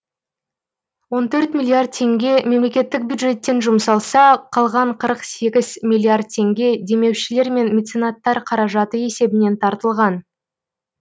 он төрт миллиард теңге мемлекеттік бюджеттен жұмсалса қалған қырық сегіз миллиард теңге демеушілер мен меценаттар қаражаты есебінен тартылған